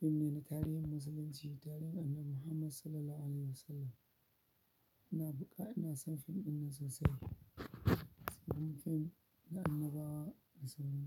Fim ne na tarihin musulunci, tarihin Annabi Muhammad Sallallahu Alaihi Wasallam. Ina buƙa, ina son fim ɗinnan sosai saboda fim na annabawa da sauransu.